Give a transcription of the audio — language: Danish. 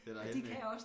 Det derhenne ad